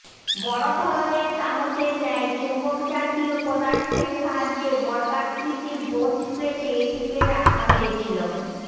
বড় ধরনের চামচের ন্যায় চুম্বকজাতীয় পদার্থের সাহায্যে বর্গাকৃতি ব্রোঞ্জ প্লেটে এটিকে রাখা হয়েছিল